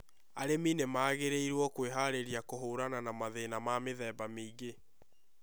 Arĩmi magĩrĩirũo kwiharĩria kũhũrana na mathĩna ma mĩthemba mĩingĩ